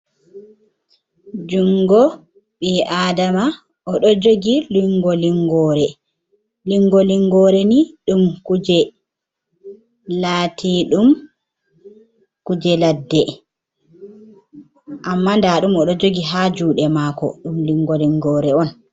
Junngo ɓi aadama o ɗon jogi Linngo-linnyoore, Linngo-linnyoore laatiiɗum kuje ladde, amma ndaaɗum o ɗo jogi haa juuɗe maako, ɗum Linngo-linnyoore on